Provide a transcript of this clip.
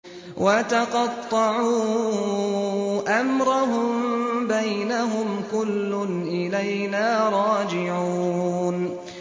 وَتَقَطَّعُوا أَمْرَهُم بَيْنَهُمْ ۖ كُلٌّ إِلَيْنَا رَاجِعُونَ